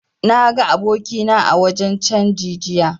Na ga abokina a wajen canji jiya